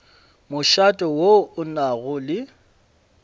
mošate wo o nago le